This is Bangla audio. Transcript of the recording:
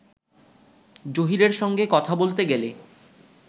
জহীরের সঙ্গে কথা বলতে গেলে